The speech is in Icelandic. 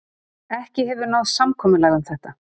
Ekki hefur náð samkomulag um þetta